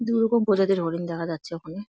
দু রকম প্রজাতির হরিণ দেখা যাচ্ছে ওখানে ।